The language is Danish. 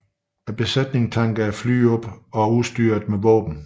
Besætningen tanker flyet op og udstyrer det med våben